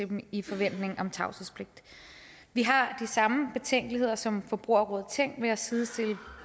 dem i forventning om tavshedspligt vi har de samme betænkeligheder som forbrugerrådet tænk ved at sidestille